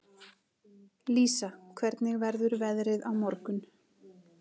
Lísa, hvernig verður veðrið á morgun?